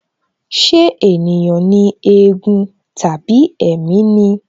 Ṣé ènìyàn ni éégún tàbí ẹ̀mí ni?